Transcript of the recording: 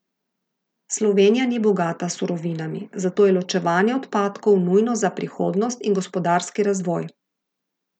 Slovenija ni bogata s surovinami, zato je ločevanje odpadkov nujno za prihodnost in gospodarski razvoj.